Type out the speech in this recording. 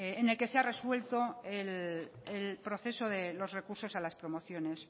en el que se ha resuelto el proceso de los recursos a las promociones